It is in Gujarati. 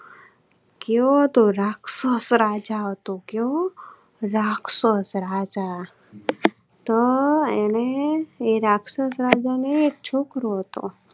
ક્યોતો રાક્ષસ રાજા હતો. ક્યો રાક્ષસ રાજા તો અને એ રાક્ષસ રાજ ને એક છોકરો હતો.